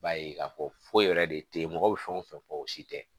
I b'a ye k'a fɔ foyi yɛrɛ de tɛ ye mɔgɔ bɛ fɛn o fɛn fɔ o si tɛ